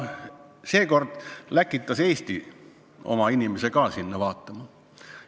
Kuna seekord läkitas Eesti oma inimese ka sinna kohale.